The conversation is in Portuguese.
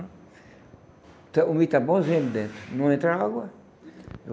O milho tá bomzinho dentro, não entra água.